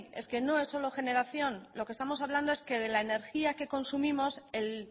es que no es solo generación lo que estamos hablando es que de la energía que consumimos el